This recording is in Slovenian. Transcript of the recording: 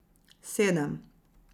Sedem.